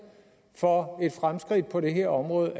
for fremskridt på det her område